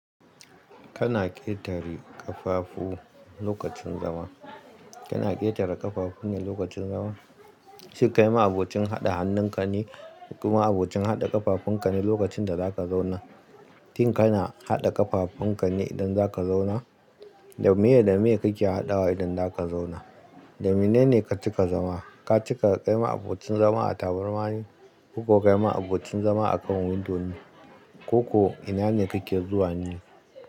Kana ƙetare ƙafafu lokacin zama. Kana ƙetare ƙafafunka lokacin zama? Shin kai ma abocin haɗa hannunka ne? Kuma abocin haɗa ƙafafunka ne, lokacin da za ka zauna? Shin kana haɗa ƙafafunka ne idan za ka zauna? Da meye, da meye kake haɗawa idan za ka zauna? Da mene ne ka cika zama? Ka cika, kai ma abocin zama a tabarma ne, ko ka kai ma abocin zama a kan windo ne? Ko ko ina ne kake zuwa ne?